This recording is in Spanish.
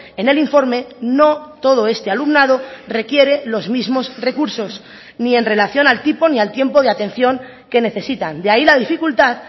en el informe no todo este alumnado requiere los mismos recursos ni en relación al tipo ni al tiempo de atención que necesitan de ahí la dificultad